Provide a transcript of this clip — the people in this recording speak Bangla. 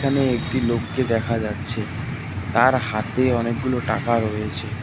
এখানে একটি লোককে দেখা যাচ্ছে তার হাতে অনেকগুলো টাকা রয়েছে।